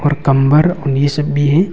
और कम्बल ऊनी सो ।